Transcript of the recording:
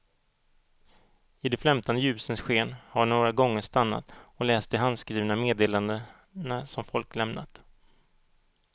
I de flämtande ljusens sken har jag några gånger stannat och läst de handskrivna meddelandena som folk lämnat.